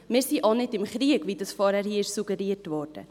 Wir sind auch nicht im Krieg, wie hier vorhin suggeriert wurde.